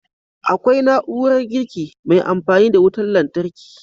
Akwai na'urar girki mai amfani da wutan lantarki